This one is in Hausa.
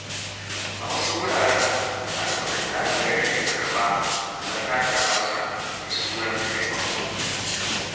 A wasu wuraren har kuɗin ɗalibai ake karɓa na satar amsa da sunan taimako.